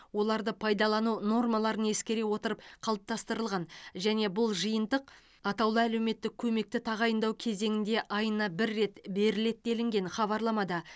оларды пайдалану нормаларын ескере отырып қалыптастырылған және бұл жиынтық атаулы әлеуметтік көмекті тағайындау кезеңінде айына бір рет беріледі делінген хабарламада